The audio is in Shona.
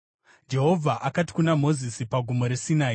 Jehovha akati kuna Mozisi pagomo reSinai,